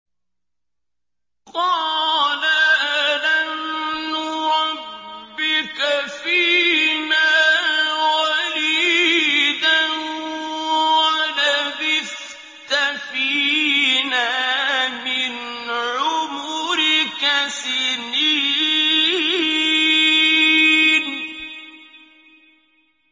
قَالَ أَلَمْ نُرَبِّكَ فِينَا وَلِيدًا وَلَبِثْتَ فِينَا مِنْ عُمُرِكَ سِنِينَ